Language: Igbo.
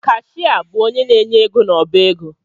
Kashịa bụ onye na-enye ego n’ọbaego